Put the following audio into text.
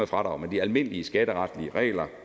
fradrag men de almindelige skatteretlige regler